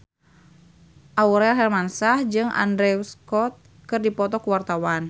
Aurel Hermansyah jeung Andrew Scott keur dipoto ku wartawan